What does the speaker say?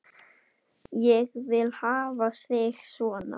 Ég vil hafa þig svona.